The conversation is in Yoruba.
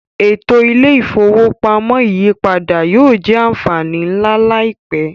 Eto ile-ifowopamọ iyipada yoo jẹ anfani nla laipẹ.